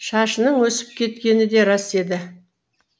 шашының өсіп кеткені де рас еді